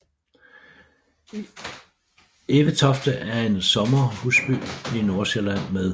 Evetofte er en sommerhusby i Nordsjælland med